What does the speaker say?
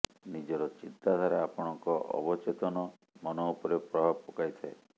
ନିଜର ଚିନ୍ତାଧାରା ଆପଣଙ୍କ ଅବଚେତନ ମନ ଉପରେ ପ୍ରଭାବ ପକାଇଥାଏ